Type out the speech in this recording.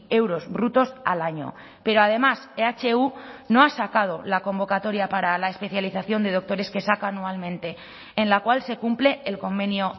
euros brutos al año pero además ehu no ha sacado la convocatoria para la especialización de doctores que saca anualmente en la cual se cumple el convenio